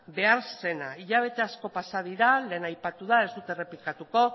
behar zena hilabete asko dira lehen aipatu da ez dut errepikatuko